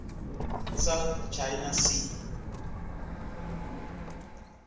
south china sea